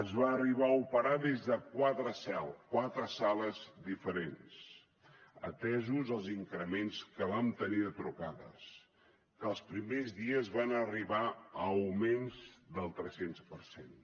es va arribar a operar des de quatre sales diferents atès els increments que vam tenir de trucades que els primers dies van arribar a augments del tres cents per cent